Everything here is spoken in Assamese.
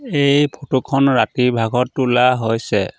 এই ফটো খন ৰাতিৰ ভাগত তোলা হৈছে।